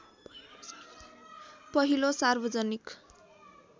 पहिलो सार्वजनिक